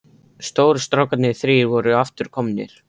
Stóru strákarnir þrír voru aftur komnir.